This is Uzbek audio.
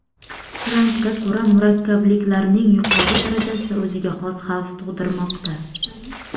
Trampga ko‘ra, murakkablikning yuqori darajasi o‘ziga xos xavf tug‘dirmoqda.